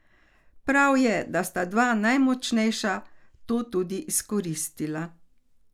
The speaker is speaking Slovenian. Prav je, da sta dva najmočnejša to tudi izkoristila.